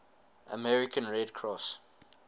american red cross